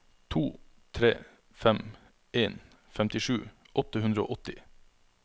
to tre fem en femtisju åtte hundre og åtti